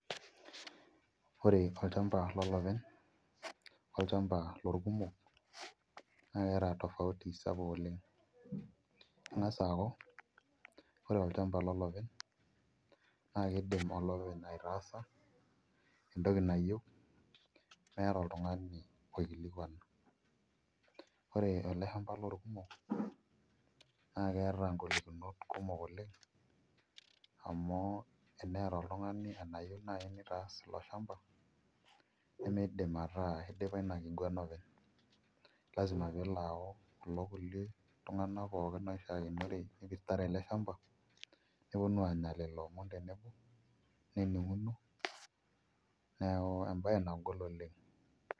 Ore olchamba lolopeny olchamba lorkumok keeta tofauti sapuk oleng' eng'as aaku ore olchamba lolopeny naa kiidim olopeny aitaasa entoki nayieu meeta oltung'ani oikilikuan ore ele shamba lorkumok naa keeta ngolikinot kumok oleng' amu teneeta oltung'ani enayieu naai nitaas ilo shamba nimiidim ataa idipa ina kiguana openy, lazima pee elo ayau kulo tung'anak pookin oishiakinore oipirta ele shamba neponu aanya lelo omon tenebo nening'uno neeku embaye nagol oleng'.